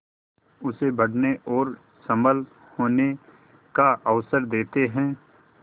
उसे बढ़ने और सबल होने का अवसर देते हैं